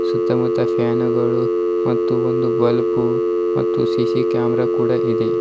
ಸುತ್ತ ಮುತ್ತ ಫ್ಯಾನುಗಳು ಮತ್ತು ಒಂದು ಬಲ್ಪು ಮತ್ತು ಸಿ_ಸಿ ಕ್ಯಾಮರ ಕೂಡ ಇದೆ.